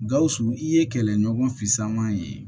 Gawusu i ye kɛlɛɲɔgɔn fama ye